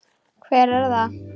Hver er það?